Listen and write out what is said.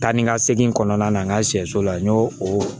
Taa ni ka segin kɔnɔna na n ka sɛso la n y'o o